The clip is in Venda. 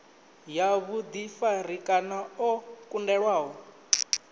ya vhuḓifari kana o kundelwaho